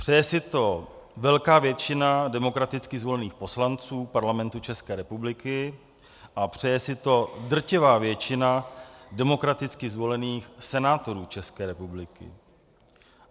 Přeje si to velká většina demokraticky zvolených poslanců Parlamentu České republiky a přeje si to drtivá většina demokraticky zvolených senátorů České republiky.